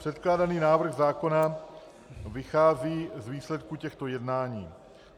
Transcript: Předkládaný návrh zákona vychází z výsledku těchto jednání.